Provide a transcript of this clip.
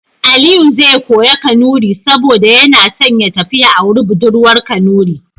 Aliyu zai koya Kanuri saboda yana son ya tafi ya auri budurwa Kanuri.